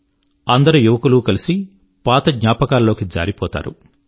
ఈ అందరు యువకులు కలిసి పాత జ్ఞాపకాల లోకి జారిపోతారు